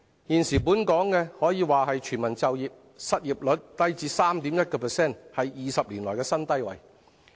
現時本港可說是全民就業，失業率低至 3.1%， 是20年來的新低。